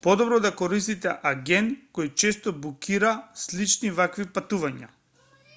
подобро да користите агент кој често букира слични вакви патувања